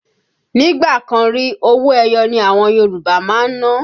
Nígbà kan rí, owó ẹyọ ni àwọn Yòrùbá máa ń ná